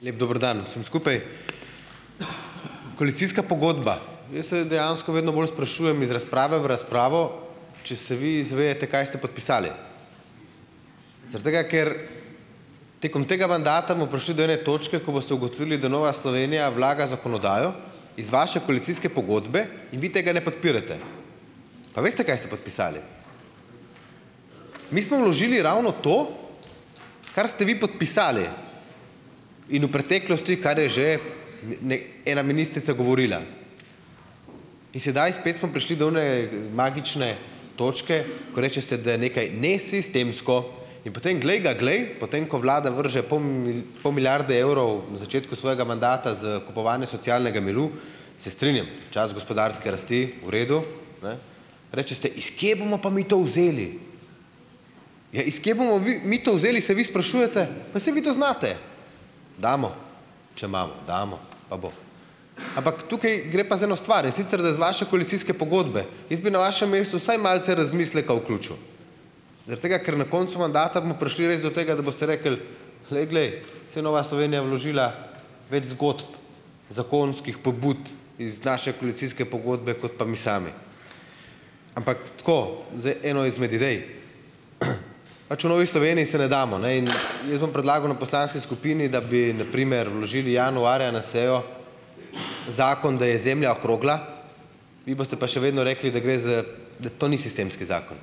Lep dober dan vsem skupaj! Koalicijska pogodba, jaz se dejansko vedno bolj sprašujem iz razprave v razpravo, če se vi zavedate, kaj ste podpisali. Zaradi tega, ker tekom tega mandata bomo prišli do ene točke, ko boste ugotovili, da Nova Slovenija vlaga zakonodajo iz vaše koalicijske pogodbe in vi tega ne podpirate. Pa veste, kaj ste podpisali? Mi smo vložili ravno to, kar ste vi podpisali, in v preteklosti, kar je že n, ne, ena ministrica govorila. In sedaj spet smo prišli do one, magične točke, ko rečete, da nekaj nesistemsko in potem, glej ga glej, potem ko vlada vrže pol pol milijarde evrov na začetku svojega mandata za kupovanje socialnega miru, se strinjam, čas gospodarske rasti, v redu, ne? Rečete, iz kje bomo pa mi to vzeli. Ja, iz kje bomo vi, mi to vzeli, se vi sprašujete, pa saj vi to znate. Damo, če imamo, damo, pa bo. Ampak tukaj gre pa za eno stvar, in sicer da z vaše koalicijske pogodbe, jaz bi na vašem mestu vsaj malce razmisleka vključil, zaradi tega, ker na koncu mandata bomo prišli res do tega, da boste rekli, glej, glej, saj Nova Slovenija je vložila več zgodb, zakonskih pobud iz naše koalicijske pogodbe kot pa mi sami. Ampak tako, zdaj eno izmed idej. Pač v Novi Sloveniji se ne damo, ne, in jaz bom predlagal na poslanski skupini, da bi na primer, vložili januarja na sejo zakon, da je zemlja okrogla, vi boste pa še vedno rekli, da gre za, da to sistemski zakon.